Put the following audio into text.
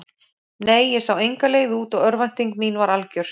Nei, ég sá enga leið út og örvænting mín var algjör.